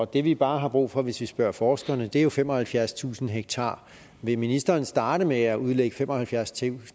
det vi bare har brug for hvis vi spørger forskerne er jo femoghalvfjerdstusind ha vil ministeren starte med at udlægge femoghalvfjerdstusind